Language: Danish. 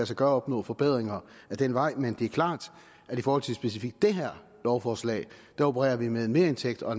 sig gøre at opnå forbedringer ad den vej men det er klart at i forhold til specifikt det her lovforslag opererer vi med en merindtægt og